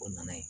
O nana yen